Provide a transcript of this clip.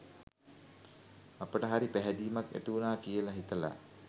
අපට හරි පැහැදීමක් ඇතිවුණා කියලා හිතලා